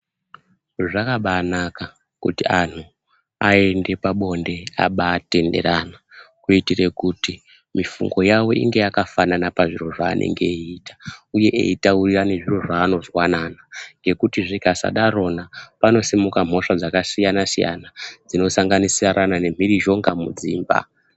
Zvakabanaka kuti antu aende pabonde abatenderana. Kuitire kuti mifungo yavo inge yakafanana pazviro zvaanenge eiita, uye eitaurirane zviro zvaanozwanana. Ngekuti zvikasadarona panosimuka mhosva dzakasiyana-siyana dzinosanganisirana nemhirizhonga mudzimba.